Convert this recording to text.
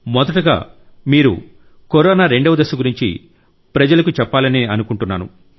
మొదట మీరు కరోనా రెండవ దశ గురించి ప్రజలకు చెప్పాలనుకుంటున్నాను